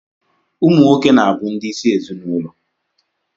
Ụmụ nwoke na-abụ ndị isi ezinụlọ.